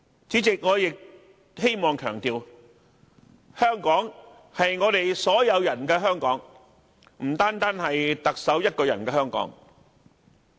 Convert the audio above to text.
主席，我亦想強調一點，香港是屬於所有人的香港，不獨是特首一個人的香港。